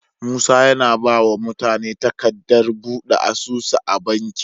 Musa yAna bawa mutane takadar buɗe asusu a banki